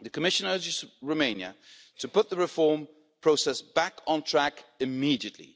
The Commission urges Romania to put the reform process back on track immediately.